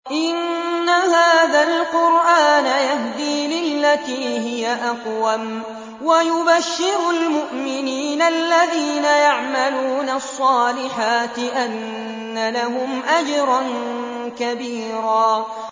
إِنَّ هَٰذَا الْقُرْآنَ يَهْدِي لِلَّتِي هِيَ أَقْوَمُ وَيُبَشِّرُ الْمُؤْمِنِينَ الَّذِينَ يَعْمَلُونَ الصَّالِحَاتِ أَنَّ لَهُمْ أَجْرًا كَبِيرًا